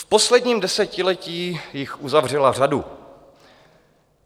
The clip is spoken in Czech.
V posledním desetiletí jich uzavřela řadu.